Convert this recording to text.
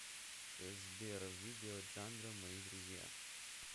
сбер видео джандро мои друзья